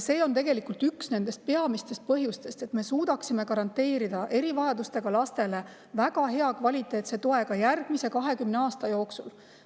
See on tegelikult üks peamistest põhjustest: et me suudaksime garanteerida erivajadustega lastele väga hea, kvaliteetse toe ka järgmise 20 aasta jooksul.